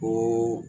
Ko